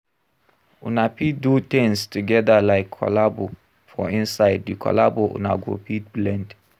Una fit do things together like collabo, for inside di collabo una go fit blend